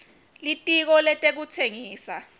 litiko letekutsengisa